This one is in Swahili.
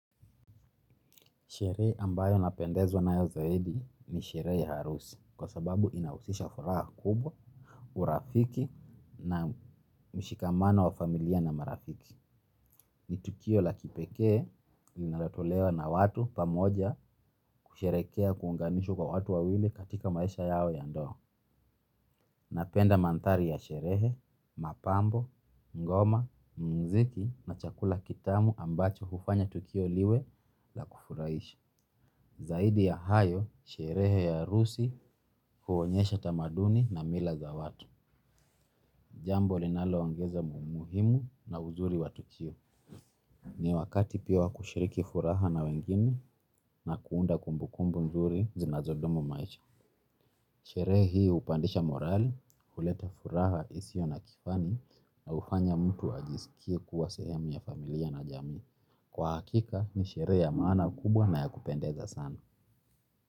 Sherehe ambayo napendezwa nayo zaidi ni sherehe ya harusi kwa sababu inahusisha furaha kubwa, urafiki na mshikamano wa familia na marafiki. Ni tukio la kipekee linalotolewa watu pamoja kusherehekea kuunganishwa kwa watu wawili katika maisha yao ya ndoa. Napenda mandhari ya sherehe, mapambo, ngoma, muziki na chakula kitamu ambacho hufanya tukio liwe la kufurahisha. Zaidi ya hayo, sherehe ya harusi huonyesha tamaduni na mila za watu. Jambo linaloongeza umuhimu na uzuri wa tukio. Ni wakati pia wa kushiriki furaha na wengine na kuunda kumbukumbu nzuri zinazodumu maisha. Sherehe hii hupandisha morali, huleta furaha isiyo na kifani na humfanya mtu ajisikie kuwa sehemu ya familia na jamii. Kwa hakika, ni sherehe ya maana kubwa na ya kupendeza sana.